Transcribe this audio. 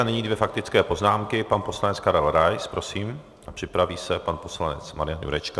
A nyní dvě faktické poznámky, pan poslanec Karel Rais, prosím, a připraví se pan poslanec Marian Jurečka.